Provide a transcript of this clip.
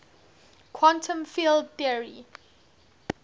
quantum field theory